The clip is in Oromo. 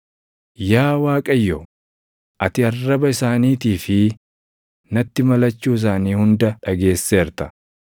Yaa Waaqayyo, ati arraba isaaniitii fi natti malachuu isaanii hunda dhageesseerta;